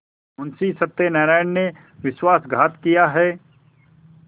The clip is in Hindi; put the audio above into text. मुंशी सत्यनारायण ने विश्वासघात किया है